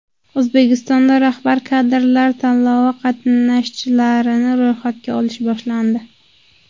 O‘zbekistonda rahbar kadrlar tanlovi qatnashchilarini ro‘yxatga olish boshlandi.